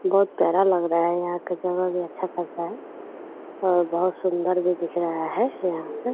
बहुत प्यारा लग रहा है यहाँ पे जगह भी अच्छा खासा है और बहुत सुंन्दर भी दिख रहा है यहाँ पे |